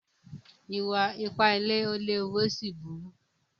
Ìwà-ipá ilé léwu ó sì burú.